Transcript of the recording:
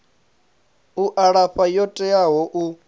u alafha yo teaho u